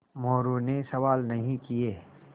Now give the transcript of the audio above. मोरू ने सवाल नहीं किये